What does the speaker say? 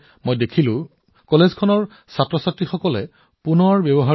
এই মহাবিদ্যালয়ৰ শিক্ষাৰ্থীসকলে পুনৰ ব্যৱহাৰযোগ্য খেলনা তৈয়াৰ কৰি আছে অতি সৃষ্টিশীল ধৰণে